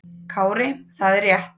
Kári: Það er rétt.